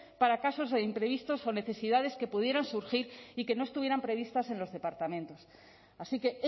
para casos e imprevistos o necesidades que pudieran surgir y que no estuvieran previstas en los departamentos así que